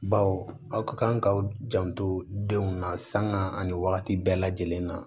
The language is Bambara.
Baw aw ka kan ka aw janto denw na sanga ani wagati bɛɛ lajɛlen na